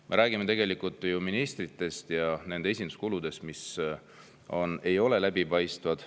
Me räägime ministritest ja nende esinduskuludest, mis ei ole läbipaistvad.